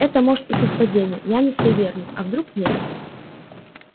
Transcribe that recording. это может и совпадения я не суеверный а вдруг нет